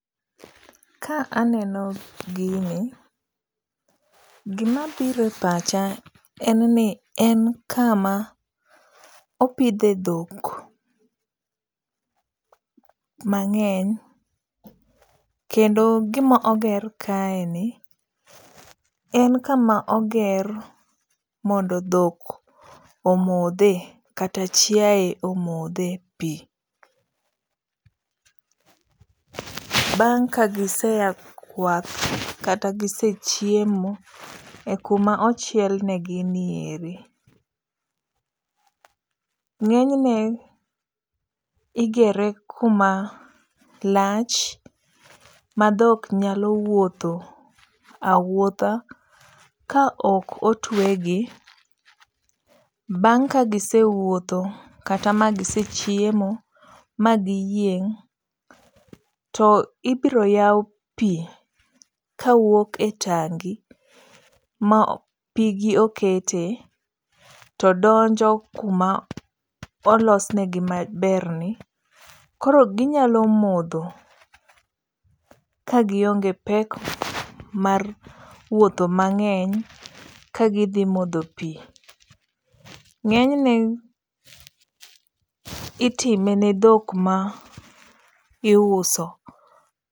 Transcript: Ka aneno gini, gima bire pacha en ni en kama opidhe dhok mang'eny. Kendo gima oger kae ni en kama oger mondo dhok omodhe kata chiaye omodhe pi. Bang' ka gisea kwath kata gise chiemo e kuma ochiel ne gi nieri. Ng'eny ne igere kuma lach ma dhok nyalo wuotho awuotha ka ok otwegi. Bang' ka gise wuotho kata gisechiemo ma giyieng', to ibiro yaw pi kawuok e tangi ma pigi okete, to donjo kuma olosnegi maber ni. Koro ginyalo modho ka gionge pek mar wuotho mang'eng ka gidhi omo pi. Ng'eny ne itime ne dhok ma iuso.